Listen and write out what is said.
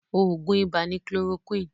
Oògùn ibà ni chloroquine